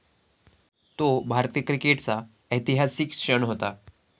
तो भारतीय क्रिकेटचा ऐतिहासिक क्षण होता.